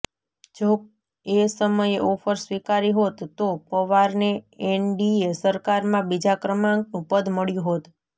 જો એ સમયે ઓફર સ્વીકારી હોત તો પવારને એનડીએ સરકારમાં બીજા ક્રમાંકનું પદ મળ્યું હોત